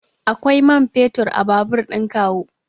Akwai man fetur a babur ɗin kawu.